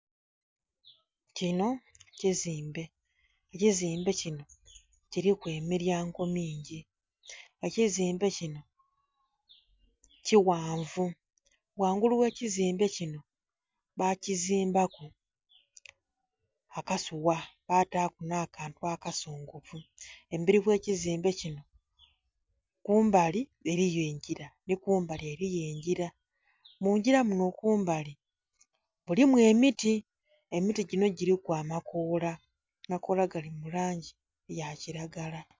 Kino kizimbe. Ekizimbe kino kiliku emilyango mingi. Ekizimbe kino kighanvu. Ghangulu ghe kizimbe kino bakizimbaku akasuwa, bataaku nh'akantu akasongovu. Emberi gh'ekizimbe kino, kumbali eriyo engira, nhi kumbali eriyo engira. Mungira muno kumbali, mulimu emiti. Emiti gino giliku amakoola, amakoola gali mu langi ya kiragala.